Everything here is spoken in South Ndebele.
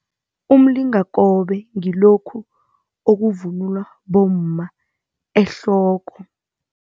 Umlingakobe ngilokhu okuvunulwa bomma ehloko.